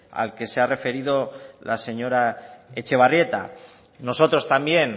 al que se ha referido la señora etxebarrieta a nosotros también